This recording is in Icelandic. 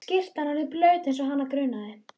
Skyrtan orðin blaut eins og hana grunaði.